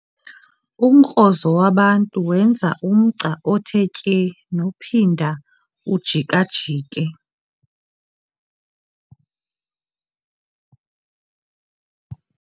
Umkrozo wabantu wenza umgca othe tye nophinda ujika-jike.